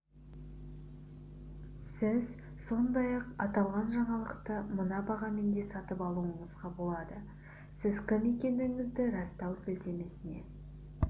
сіз сондай-ақ аталған жаңалықты мына бағамен де сатып алуыңызға болады сіз кім екендігіңізді растау сілтемесіне